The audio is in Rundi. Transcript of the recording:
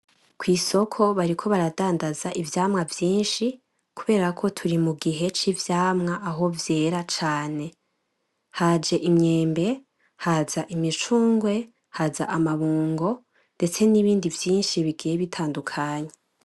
Kwisoko bariko baradandaza ivyamwa vyinshi, kuberako turi mugihe c'ivyamwa aho vyera cane. Haj'imyembe haz'imicungwe haz' amabungo, ndetse nibindi vyinshi bigiye bitandukanye.